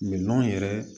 Minɛnw yɛrɛ